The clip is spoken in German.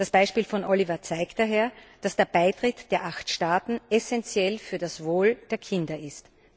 Das Beispiel von Oliver zeigt daher, dass der Beitritt der acht Staaten essenziell für das Wohl der Kinder ist.